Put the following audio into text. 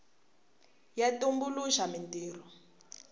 ya tumbuluxa mintirho